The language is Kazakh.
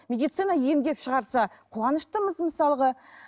медицина емдеп шығарса қуаныштымыз мысалға